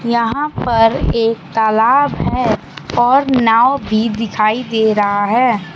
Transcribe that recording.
यहां पर एक तालाब है और नाव भी दिखाई दे रहा है।